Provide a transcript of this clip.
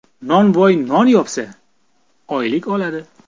Nonvoy non yopsa, oylik oladi.